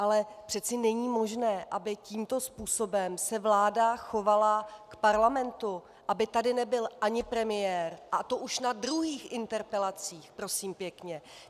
Ale přece není možné, aby tímto způsobem se vláda chovala k parlamentu, aby tady nebyl ani premiér, a to už na druhých interpelacích, prosím pěkně.